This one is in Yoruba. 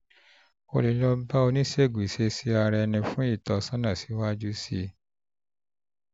o lè lọ bá oníṣègùn ìṣesí-ara-ẹni fún ìtọ́sọ́nà síwájú sí i síwájú sí i